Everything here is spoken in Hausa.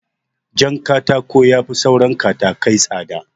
Jankatako yafi saura katakai tsada